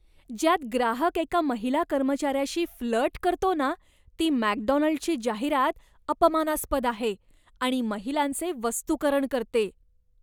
ज्यात ग्राहक एका महिला कर्मचाऱ्याशी फ्लर्ट करतो ना, ती मॅकडोनाल्डची जाहिरात अपमानास्पद आहे आणि महिलांचे वस्तूकरण करते.